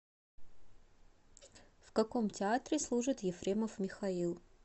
в каком театре служит ефремов михаил